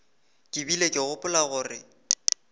ke bile ke gopola gore